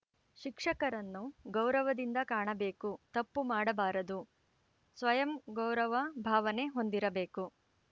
ಶಿಕ್ಷಕರನ್ನು ಗೌರವದಿಂದ ಕಾಣಬೇಕು ತಪ್ಪು ಮಾಡಬಾರದು ಸಯಂ ಗೌರವ ಭಾವನೆ ಹೊಂದಿರಬೇಕು